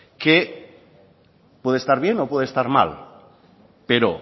que puede estar bien o puede estar mal pero